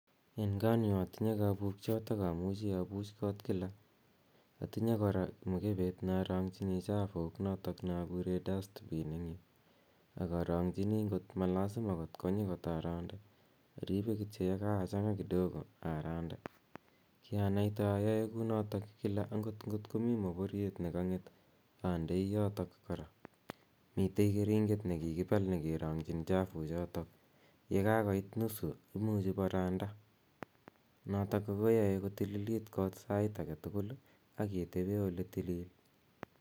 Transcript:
En kanyun otinyee kobukyot ak omuchii obuch kot kila, otinyee koraa mokupet neoronginiii chafuuk noton neokuren dustpit ak oronginii kot malasima kotkonyi kot arande, oripe kityok yekakochanga kidogo arande, kiranaite ayoe kou noton kila akot ikotko mii mokoryet nekonget ondoi yoton koraa. Miten keringet nekikibal neoronginii chafuuk choton, yekakoit nusu koimuch abaranda noton koyoe kotililit kot sai aketukul aketeben oletilil.